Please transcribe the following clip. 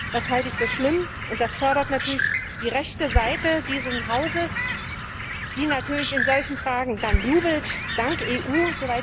Das halte ich für schlimm und das fördert natürlich die rechte Seite dieses Hauses, die in solchen Fragen dann jubelt Danke EU!